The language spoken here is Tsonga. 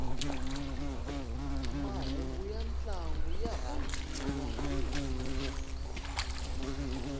mahhungu yantlangu yarhandziwa